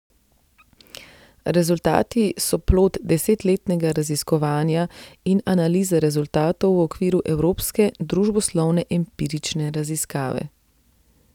Rezultati so plod desetletnega raziskovanja in analize rezultatov v okviru Evropske družboslovne empirične raziskave.